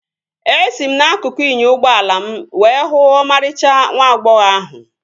Esi m n'akụkụ inyo ụgbọala m were huu ọmarịcha nwa agbọghọ ahụ